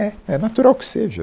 É, É natural que seja.